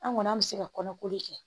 An kɔni an bɛ se ka kɔnɔko de kɛ